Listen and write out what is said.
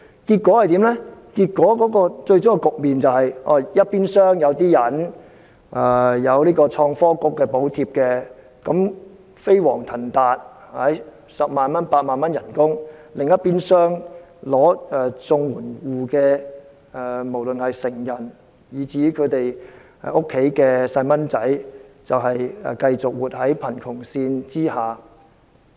最終的結果是，一邊廂有些人享有創新及科技局的補貼，飛黃騰達，月薪十萬八萬元；另一邊廂，領取綜援者，無論是成人以至其子女，繼續活在貧窮線下。